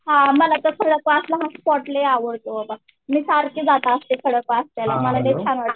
मला त्या फळाचा असला मस्त वास लई आवडतो बाबा. मी सारखं जात असते खडकवासला मला लई छान वाटतं.